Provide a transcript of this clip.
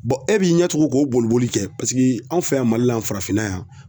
e b'i ɲɛtugu k'o boliboli kɛ paseke anw fɛ yan Mali la yan farafinna yan